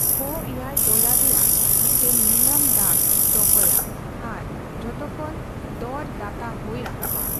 ᱠᱷᱚ ᱮᱭᱟᱭ ᱰᱚᱞᱟᱨ ᱨᱮᱭᱟᱜ ᱢᱤᱫᱴᱟᱝ ᱱᱤᱞᱟᱢᱼ ᱰᱟᱹᱠ ᱫᱚᱦᱚᱭᱼᱟ ᱟᱨ ᱡᱷᱚᱛᱚᱠᱷᱚᱱ ᱫᱚᱨ ᱫᱟᱛᱟ ᱦᱳᱭ ᱨᱟᱠᱟᱵᱼᱟ ᱾